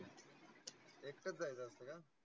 एकटाच जायचं असत का?